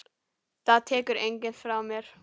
Það tekur enginn frá mér.